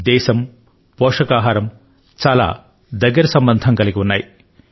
దేశం పోషకాహారం చాలా దగ్గరి సంబంధం కలిగి ఉన్నాయి